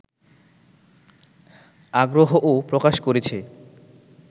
আগ্রহও প্রকাশ করেছে